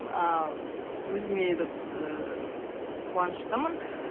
ааа өзіме этот ыыы қуаныштымын